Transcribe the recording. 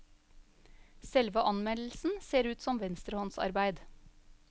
Selve anmeldelsen ser ut som venstrehåndsarbeid.